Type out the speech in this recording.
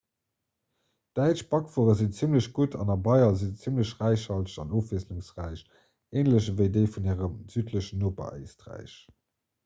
däitsch bakwuere sinn zimmlech gutt an a bayern si se zimmlech räichhalteg an ofwiesslungsräich änlech ewéi déi vun hirem südlechen noper éisträich